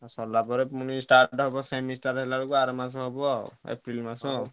ଆଉ ସରିଲା ପରେ start ହବ semester ହେଲାବେଳକୁ ତାର ମାସ ହବ ଆଉ ଏପ୍ରିଲ ମାସ ଆଉ।